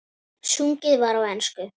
Sungið var á ensku.